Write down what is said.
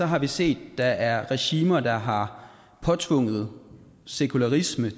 har vi set at der er regimer der har påtvunget sekularisme